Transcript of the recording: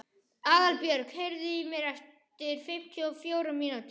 Aðalbjörg, heyrðu í mér eftir fimmtíu og fjórar mínútur.